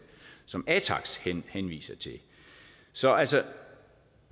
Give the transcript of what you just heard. som atax henviser til så altså